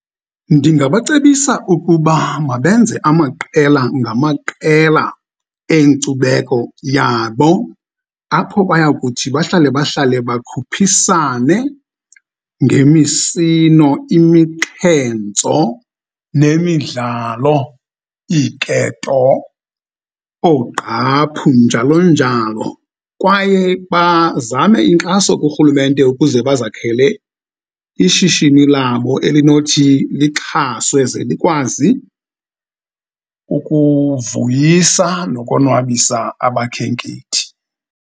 Ndingabacebisa ukuba mabenze amaqela ngamaqela enkcubeko yabo apho bayakuthi bahlale bahlale bakhuphisane ngemisino, imixhentso nemidlalo, iiketo, oogqaphu njalo njalo. Kwaye bazame inkxaso kurhulumente ukuze bazakhele ishishini labo elinothi lixhaswe ze likwazi ukuvuyisa nokonwabisa abakhenkethi.